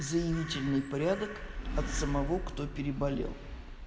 заявительный порядок от самого кто переболел